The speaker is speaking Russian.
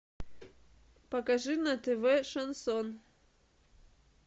покажи на тв шансон